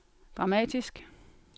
dramatisk